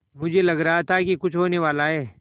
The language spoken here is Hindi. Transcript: मुझे लग रहा था कि कुछ होनेवाला है